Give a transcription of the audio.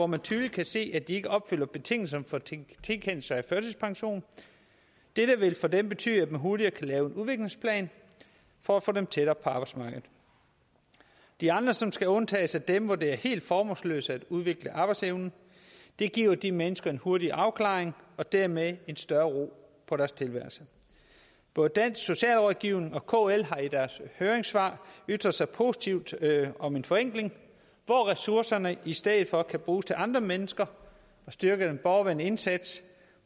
man tydeligt kan se ikke opfylder betingelserne for tilkendelse af førtidspension dette vil for dem betyde at man hurtigere kan lave en udviklingsplan for at få dem tættere på arbejdsmarkedet de andre som skal undtages er dem hvor det er helt formålsløst at udvikle arbejdsevnen det giver de mennesker en hurtig afklaring og dermed en større ro på deres tilværelse både dansk socialrådgiverforening og kl har i deres høringssvar ytret sig positivt om en forenkling hvor ressourcerne i stedet for kan bruges til andre mennesker og styrke den borgervendte indsats